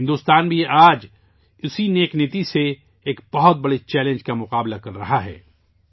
بھارت بھی آج اسی نیک نیتی سے ایک بہت بڑے چیلنج کا سامنا کر رہا ہے